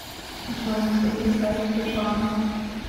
джой назови сайт сбербанка